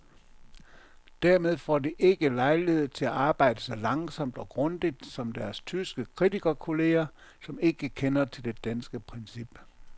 Dermed får de ikke lejlighed til at arbejde så langsomt og grundigt som deres tyske kritikerkolleger, som ikke kender til det danske princip.